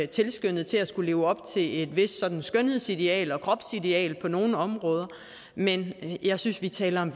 tilskyndet til at skulle leve op til et vist skønhedsideal og kropsideal på nogle områder men jeg synes vi taler om